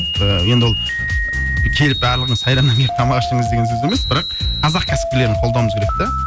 ыыы енді ол келіп барлығыңыз сайрамнан келіп тамақ ішіңіз деген сөз емес бірақ қазақ кәсіпкерлерін қолдауымыз керек те